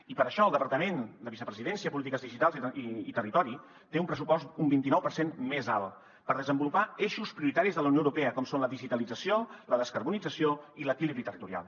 i per això el departament de vicepresidència polítiques digitals i territori té un pressupost un vint i nou per cent més alt per desenvolupar eixos prioritaris de la unió europea com són la digitalització la descarbonització i l’equilibri territorial